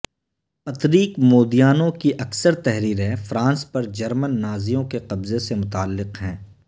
Patrick Modiano کی اکثر تحریرں فرانس پر جرمن نازیوں کے قبضے سے متعلق ہیں